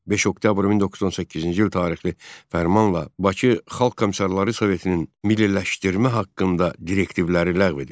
5 oktyabr 1918-ci il tarixli fərmanla Bakı Xalq Komissarları Sovetinin milliləşdirmə haqqında direktivləri ləğv edildi.